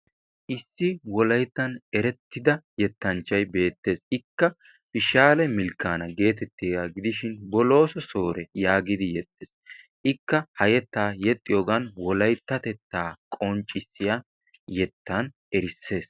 issi wollaytta erettida yettaanchay beettees. ikka fishaalle milkaana getettiyaaga gidishin booloso soore yaagidi yeexxees. ikka ha yeettaa yeexiyoogan wollayttatettaa qonccisiyaa yettaan erissees.